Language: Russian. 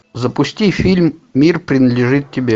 запусти фильм мир принадлежит тебе